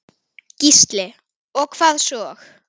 Gísli: Og hvað svo?